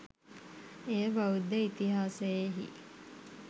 එය බෞද්ධ ඉතිහාසයෙහි